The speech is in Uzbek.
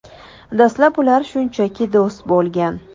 Dastlab ular shunchaki do‘st bo‘lgan.